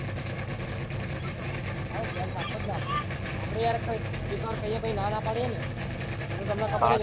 પાક્કું ને આપડે આપડ એક વાર કાઈએ ને ignore પાડીયે પાહિ ના ના પાડીએ ને એતો તમને ખબર ને